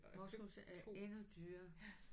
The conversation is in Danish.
Moskus er endnu dyrere